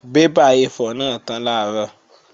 Bébà A4 náà tán làárọ̀